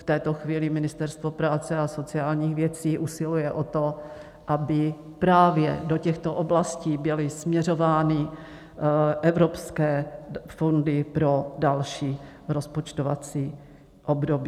V tuto chvíli Ministerstvo práce a sociálních věcí usiluje o to, aby právě do těchto oblastí byly směřovány evropské fondy pro další rozpočtovací období.